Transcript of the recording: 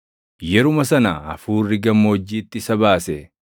Yeruma sana Hafuurri gammoojjiitti isa baase;